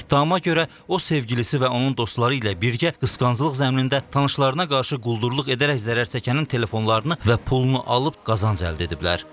İttihama görə o sevgilisi və onun dostları ilə birgə qısqanclıq zəminində tanışlarına qarşı quldurluq edərək zərər çəkənin telefonlarını və pulunu alıb qazanc əldə ediblər.